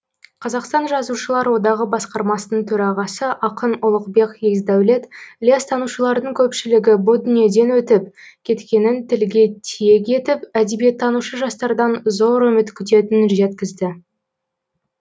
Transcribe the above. қазақстан жазушылар одағы басқармасының төрағасы ақын ұлықбек есдәулет ілиястанушылардың көпшілігі бұл дүниеден өтіп кеткенін тілге тиек етіп әдебиеттанушы жастардан зор үміт күтетінін жеткізді